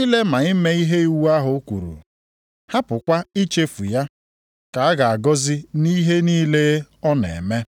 ile na ime ihe iwu ahụ kwuru, hapụkwa ichefu ya, ka a ga-agọzi nʼihe niile ọ na-eme.